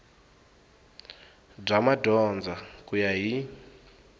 bya madyondza ku ya hi